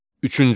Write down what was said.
Üçüncü.